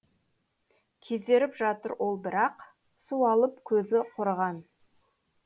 кезеріп жатыр ол бірақ суалып көзі құрыған